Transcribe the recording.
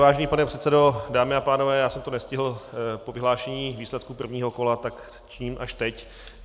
Vážený pane předsedo, dámy a pánové, já jsem to nestihl po vyhlášení výsledků prvního kola, tak činím až teď.